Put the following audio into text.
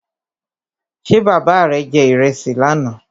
Ṣé bàbá rè je ìrẹsì lánà?